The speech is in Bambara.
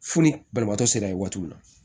Fo ni banabaatɔ sera ye waati min na